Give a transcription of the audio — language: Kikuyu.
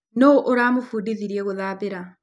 Nũ ũramũbundithirie gũthambĩra